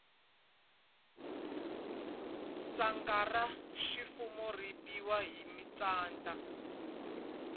tshanga ra swifuwo ri biyiwa hi mintsanda